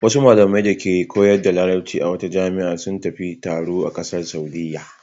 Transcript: Wasu malamai dake koyar da Larabci a wata jami'a sun tafi taro ƙasar Saudiyya.